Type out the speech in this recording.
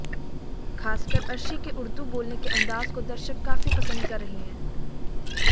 खासकर अर्शी के उर्दू बोलने के अंदाज को दर्शक काफी पसंद कर रहे हैं